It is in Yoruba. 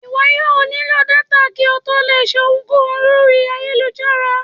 iwọ yóò nilo Data, ki o tó le lò ṣe ohúnkohún lorí ayélujára